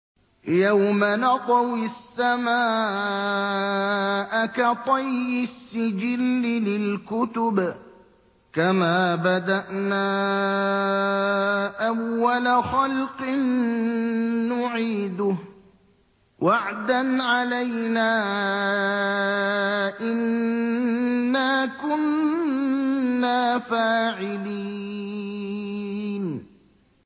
يَوْمَ نَطْوِي السَّمَاءَ كَطَيِّ السِّجِلِّ لِلْكُتُبِ ۚ كَمَا بَدَأْنَا أَوَّلَ خَلْقٍ نُّعِيدُهُ ۚ وَعْدًا عَلَيْنَا ۚ إِنَّا كُنَّا فَاعِلِينَ